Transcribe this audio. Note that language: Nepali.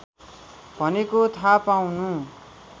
भनेको थाहा पाउनु